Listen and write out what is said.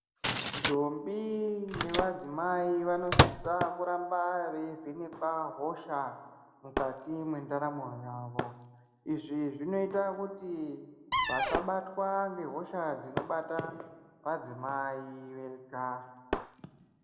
Ndombi nevadzimai vanosisa kuramba veivhenekwa hosha mukati mwendaramo yawo izvi zvinoita kuti vasabatwa ngehosha dzinobata vadzimai vega.